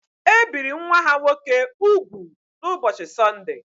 E biri nwa ha nwoke úgwù n’ụbọchị Sọndee